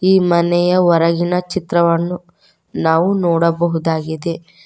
ಈ ಮನೆಯ ಹೊರಗಿನ ಚಿತ್ರವನ್ನು ನಾವು ನೋಡಬಹುದಾಗಿದೆ.